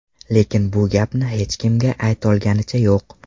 Lekin bu gapni hech kim aytolganicha yo‘q.